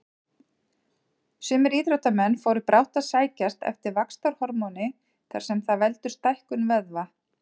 Sumir íþróttamenn fóru brátt að sækjast eftir vaxtarhormóni þar sem það veldur stækkun vöðva.